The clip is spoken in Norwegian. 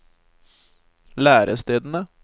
lærestedene